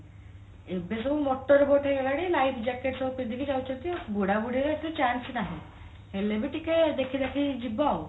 ଏବେ ସବୁ motor boat ହେଇଗଲାଣି life jacket ସବୁ ପିନ୍ଧିକି ସବୁ ଯାଉଛନ୍ତି ଆଉ ବୁଢା ବୁଢୀରେ ତ chance ନାହିଁ ହେଲେ ବି ଟିକେ ଦେଖିଦାଖିକି ଯିବ ଆଉ